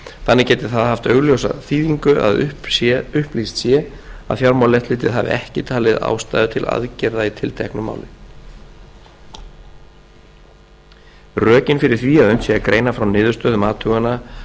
þannig geti það haft augljósa þýðingu að upplýst sé að fjármálaeftirlitið hafi ekki talið ástæðu til aðgerða í tilteknu máli rökin fyrir því að unnt sé að greina frá niðurstöðum athugana